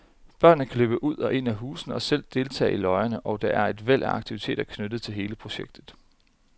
Børnene kan løbe ud og ind i husene og selv deltage i løjerne, og der er et væld af aktiviteter knyttet til hele projektet.